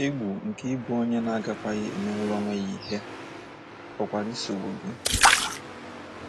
Egwu nke ịbụ onye na - agakwaghị emenwuru onwe ya ihe pụkwara isogbu gị.